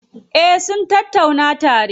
Eh sun tattauna tare.